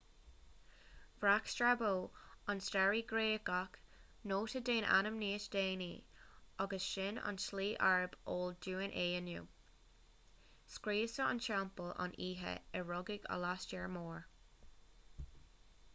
bhreac strabo an staraí gréagach nóta den ainm níos déanaí agus sin an tslí arb eol dúinn é inniu scriosadh an teampaill an oíche a rugadh alastar mór